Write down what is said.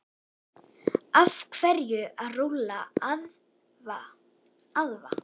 Af hverju að rúlla vöðva?